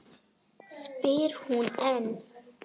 spyr hún enn.